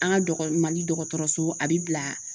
An ka dɔgɔ, Mali dɔgɔtɔrɔso a be bila